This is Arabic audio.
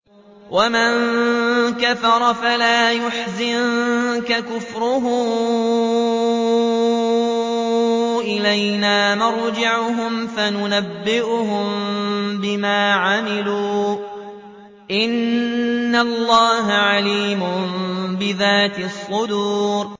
وَمَن كَفَرَ فَلَا يَحْزُنكَ كُفْرُهُ ۚ إِلَيْنَا مَرْجِعُهُمْ فَنُنَبِّئُهُم بِمَا عَمِلُوا ۚ إِنَّ اللَّهَ عَلِيمٌ بِذَاتِ الصُّدُورِ